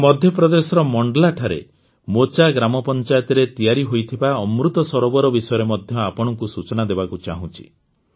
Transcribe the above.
ମୁଁ ମଧ୍ୟପ୍ରଦେଶର ମାଣ୍ଡଲାଠାରେ ମୋଚା ଗ୍ରାମପଂଚାୟତରେ ତିଆରି ହୋଇଥିବା ଅମୃତ ସରୋବର ବିଷୟରେ ମଧ୍ୟ ଆପଣଙ୍କୁ ସୂଚନା ଦେବାକୁ ଚାହୁଁଛି